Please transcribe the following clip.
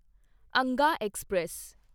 Angad express